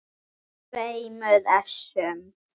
tveimur essum.